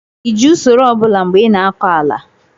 ị ji usoro ọ bụla mgbe ị na-akọ ala?